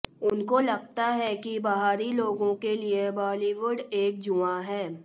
उनको लगता है कि बाहरी लोगों के लिए बालीवुड एक जुआ है